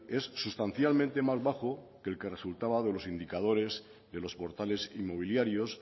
es sustancialmente más bajo que el que resultaba de los indicadores de los portales inmobiliarios